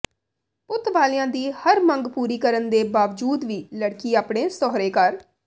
ਪੁੱਤ ਵਾਲਿਆਂ ਦੀ ਹਰ ਮੰਗ ਪੂਰੀ ਕਰਨ ਦੇ ਬਾਵਜੂਦ ਵੀ ਲੜਕੀ ਆਪਣੇ ਸਹੁਰੇ ਘਰ